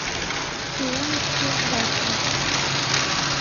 илоночке зайцевой